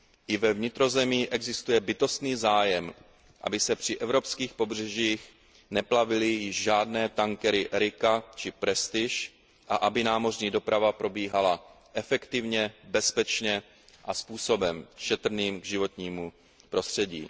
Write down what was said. I ve vnitrozemí existuje bytostný zájem, aby se při evropských pobřežích neplavily již žádné tankery Erika či Prestige a aby námořní doprava probíhala efektivně, bezpečně a způsobem šetrným k životnímu prostředí.